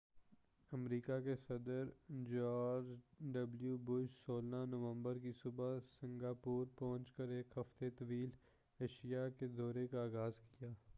امریکہ کے صدر George W Bush 16 نومبر کی صبح سنگاپور پہنچ کر ایک ہفتہ طویل ایشیاء کے دورے کا آغاز کیا